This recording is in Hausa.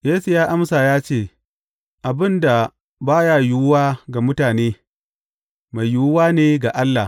Yesu ya amsa ya ce, Abin da ba ya yiwuwa ga mutane, mai yiwuwa ne ga Allah.